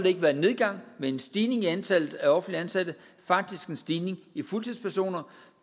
ikke være en nedgang men en stigning i antallet af offentligt ansatte faktisk en stigning i fuldtidspersoner